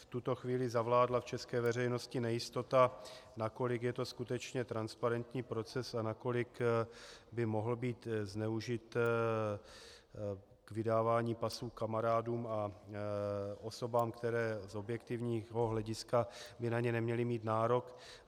V tuto chvíli zavládla v české veřejnosti nejistota, nakolik je to skutečně transparentní proces a nakolik by mohl být zneužit k vydávání pasů kamarádům a osobám, které z objektivního hlediska by na ně neměly mít nárok.